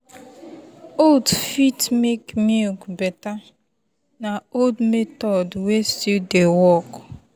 oats fit make milk better na old method wey still dey work.